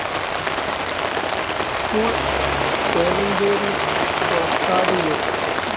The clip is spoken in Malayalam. School, Chemancheri Kolakkad U.